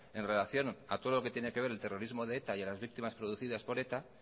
en relación a todo lo que tiene que ver el terrorismo de eta y a las víctimas producidas por eta